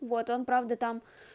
вот он правда там